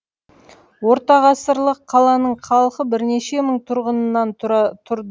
ортағасырлық қаланың халқы бірнеше мың тұрғыннан тұра тұрды